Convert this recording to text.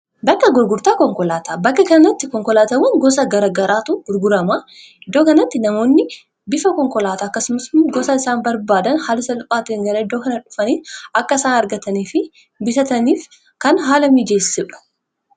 Bakka gurgurtaa konkolaataa bakka kanatti konkolaatawwan gosa gara garaatu gurguramuuf oola.